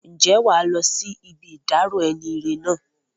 Ǹjẹ́ wàá lọ sí ibi ìdárò enire náà?